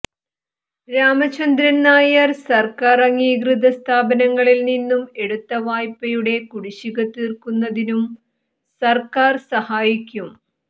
രാമചന്ദ്രൻ നായർ സർക്കാർ അംഗീകൃതസ്ഥാപനങ്ങളിൽ നിന്നും എടുത്ത വായ്പയുടെ കുടിശ്ശിക തീർക്കുന്നതിനും സർക്കാർ സഹായിക്കും